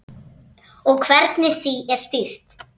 Og hvernig því er stýrt.